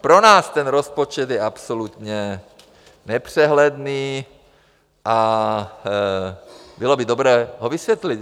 Pro nás ten rozpočet je absolutně nepřehledný a bylo by dobré ho vysvětlit.